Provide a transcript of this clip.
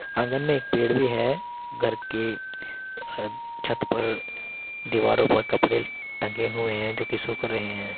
आँगन में एक पेड़ भी है घर के छत पर दीवारों पर कपड़े टंगे हुए हैं जो की सूख रहें हैं।